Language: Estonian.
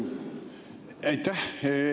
Aitäh!